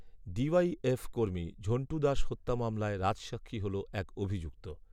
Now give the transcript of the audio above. D YF কর্মী ঝণ্টু দাস হত্যা মামলায় রাজসাক্ষী হল এক অভিযুক্ত